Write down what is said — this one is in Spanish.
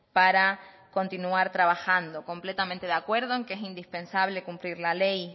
para continuar trabajando completamente de acuerdo en que es indispensable cumplir la ley